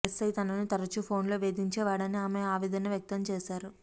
SI తనను తరుచూ ఫోన్లో వేధించే వాడని ఆమె ఆవేదన వ్యక్తం చేశారు